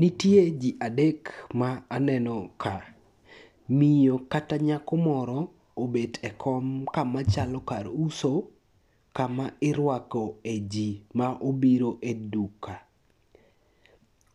Nitie ji adek ma aneno ka, miyo kata nyako moro obet e kom kama chalo kar uso kama irwako e ji ma obiro e duka.